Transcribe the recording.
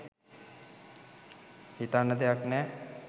හිතන්න දෙයක් නැහැ